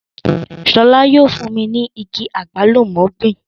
Sọlá yóò fún mi ní igi àgbálùmọ́ gbìn